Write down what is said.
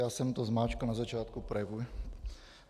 Já jsem to zmáčkl na začátku projevu.